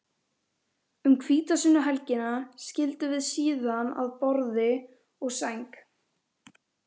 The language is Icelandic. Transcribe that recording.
Um hvítasunnuhelgina skildum við síðan að borði og sæng.